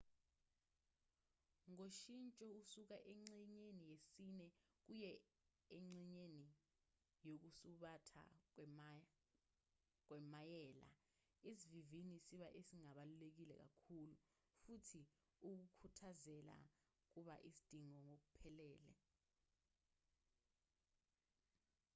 ngoshintsho kusuka engxenyeni yesine kuye engxenyeni yokusubatha kwemayela isivinini siba esingabalulekile kakhulu futhi ukukhuthazela kuba isidingo ngokuphelele